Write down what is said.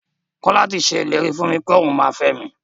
Kọ́la ti ṣe ìlérí fún mi pẹ́ òun máa fẹ mi.